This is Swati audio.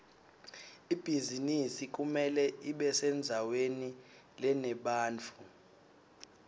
ibhizinisi kumele ibesendzaweni lenebantfu